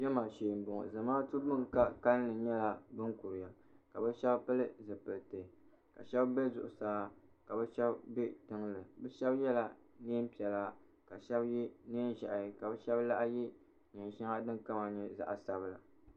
Jama shee n bɔŋo zamaatu bin ka kalinli nyɛla bin kuriya ka ka shɛba pili zipiliti ka shɛba bɛ zuɣusaa ka bi shɛba bɛ tiŋli bi shɛba yɛla niɛn piɛla ka shɛba yɛ niɛn ʒiɛhi ka bi shɛba laɣim yɛ niɛn shɛŋa din kama nyɛ zaɣa sabila.